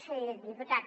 sí diputat